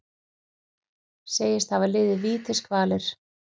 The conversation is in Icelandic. Segist hafa liðið vítiskvalir